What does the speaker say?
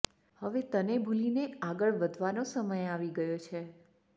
હવે તને ભૂલી ને આગળ વધવા નો સમય આવી ગયો છે